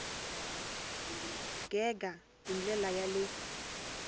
gega hi ndlela ya le